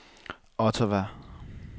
Ottawa